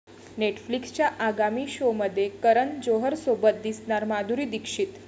नेटफ्लिक्सच्या आगामी शोमध्ये करण जोहरसोबत दिसणार माधुरी दीक्षित